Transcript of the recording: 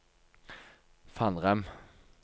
Fannrem